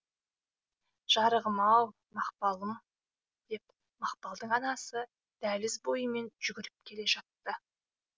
жарығым ау мақпалым деп мақпалдың анасы дәліз бойымен жүгіріп келе жатты